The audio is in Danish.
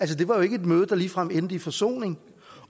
det var jo ikke et møde der ligefrem endte i forsoning